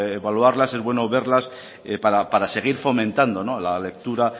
evaluarlas es bueno verlas para seguir fomentando la lectura